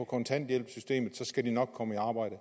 kontanthjælpssystemet for så skal de nok komme i arbejde